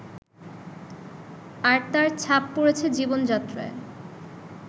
আর তার ছাপ পড়েছে জীবনযাত্রায়